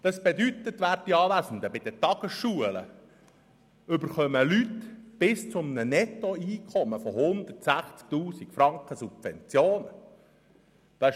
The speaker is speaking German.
Werte Anwesende, das bedeutet, dass bei den Tagesschulen Leute bis zu einem Nettoeinkommen von 160 000 Franken Subventionen erhalten.